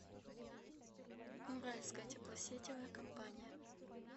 уральская теплосетевая компания